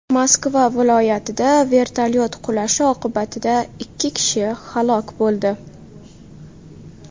Moskva viloyatida vertolyot qulashi oqibatida ikki kishi halok bo‘ldi.